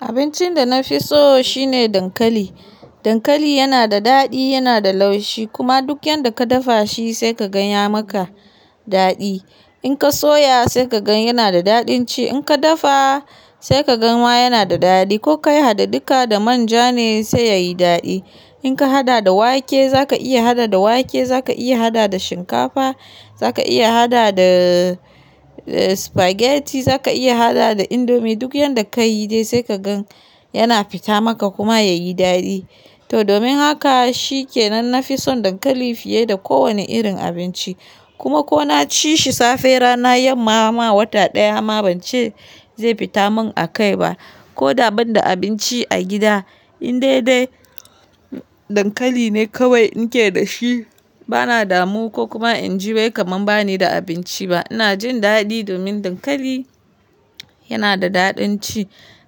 Abincin da na fi so shine dankali. Dankali yana da daɗi, yana da laushi kuma duk yanda ka dafa shi sai ka gan ya maka daɗi. In ka soya sai ka gan yana da daɗin ci, in ka dafa sai ka gan wa yana da daɗi. Ko kai hada duka da manja ne sai ya yi daɗi. In ka hada da wake, za ka iya hada da wake, za ka iya hada da shinkafa, za ka iya hada da spaghetti, za ka iya hada da indomie. Duk yanda ka yi dai sai ka gan yana fita maka kuma ya yi daɗi. To domin haka shi ke nan na fi son dankali fiye da kowane irin abinci. Kuma ko na ci shi safe, rana, yamma, ma wata ɗaya ma ban ce zai fita min akai ba. Ko da ban da abinci a gida, in dai dai dankali ne kawai in ke da shi bana damu ko kuma in ji wai kamar ba ni da abinci ba. Ina jin daɗi domin dankali yana da daɗin ci.